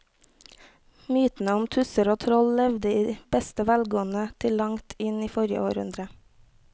Mytene om tusser og troll levde i beste velgående til langt inn i forrige århundre.